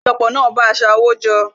Àpéjọpọ̀ náà bá a sa owó jọ